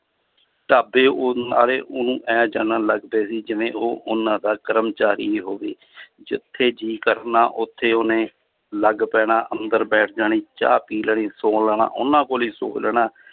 ਢਾਬੇ ਉਹ ਆਲੇ ਉਹਨੂੰ ਇਉਂ ਜਾਨਣ ਲੱਗ ਪਏ ਸੀ ਜਿਵੇਂ ਉਹ ਉਹਨਾਂ ਦਾ ਕਰਮਚਾਰੀ ਹੀ ਹੋਵੇ ਜਿੱਥੇ ਜੀਅ ਕਰਨਾ ਉੱਥੇ ਉਹਨੇ ਲੱਗ ਪੈਣਾ ਅੰਦਰ ਬੈਠ ਜਾਣੀ ਚਾਹ ਪੀ ਲੈਣੀ ਸੌ ਲੈਣਾ, ਉਹਨਾਂ ਕੋਲੇ ਹੀ ਸੌ ਲੈਣਾ